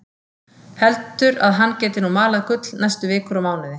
Heldur að hann geti nú malað gull næstu vikur og mánuði.